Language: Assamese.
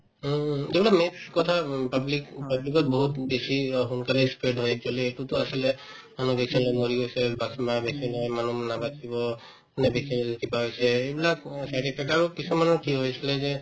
উম, কথা উম public উম public ত বহুত বেছি অ সোনকালে ই spread হয় actually এইটো to আছিলে মানুহ vaccine লৈ মৰিও আছে vaccine লৈ মানুহ নাবাচিব কোনোবাই vaccine লৈ কিবা হৈছে এইবিলাক উম কিছুমানৰ কি হৈছিলে যে